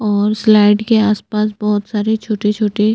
और स्लाइड के आसपास बोहोत सारे छोटे - छोटे --